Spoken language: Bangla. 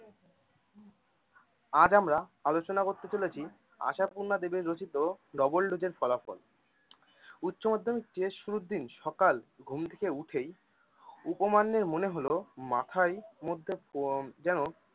আজ আমরা আলোচনা করতে চলেছি আশাপূর্ণা দেবীর রচিত double dose এর ফলাফল উচ্চ মাধ্যমিক শুরুর দিন সকাল ঘুম থেকে উঠেই উপমান্যের মনে হল মাথায় মধ্যে কেমন যেন